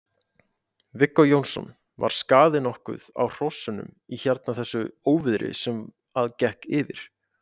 Viggó Jónsson: Var skaði nokkuð á hrossunum í hérna þessu óviðri sem að gekk yfir?